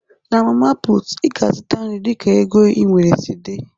Na mama putu, Ị ga-azụta nri dịka ego i nwere si dị